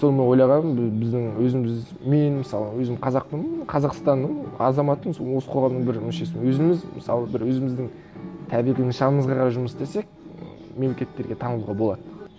соны ойлағанмын біздің өзіміз мен мысалы өзім қазақпын қазақстанның азаматымыз осы қоғамның бір мүшесімін өзіміз мысалы бір өзіміздің табиғи нышанымызға қарай жұмыс істесек мемлекеттерге танылуға болады